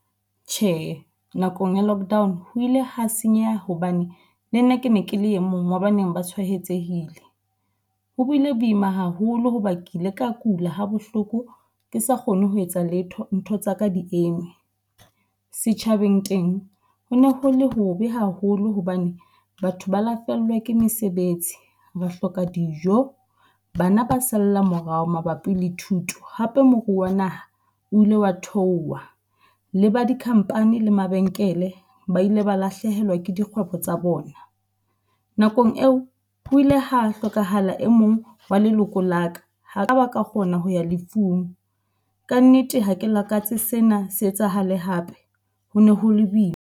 Tjhe, nakong ya lockdown ho ile hwa senyeha hobane le nna ke ne ke le e mong wa baneng ba tshwaetsehile. Ho buile boima haholo hoba ke ile ka kula ha bohloko ke sa kgone ho etsa letho ntho tsaka di eme. Setjhabeng teng, ho ne ho le hobe haholo hobane batho ba la fellwa ke mesebetsi, ba hloka dijo, bana ba salla morao mabapi le thuto. Hape moruo wa naha o ile wa theoha. Le ba dikhampani le mabenkele ba ile ba lahlehelwa ke dikgwebo tsa bona. Nakong eo o ile ho hlokahala e mong wa leloko la ka, ha ka ba ka kgona ho ya lefung. Ka nnete ha ke lakatse sena se etsahale hape ho ne ho le boima.